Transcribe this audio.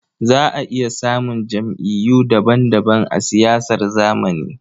Za a iya samun jam'iyyu daban-daban a siyasar zamani.